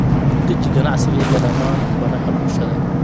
ku dheji ganacsigayga dhammaan baraha bulshada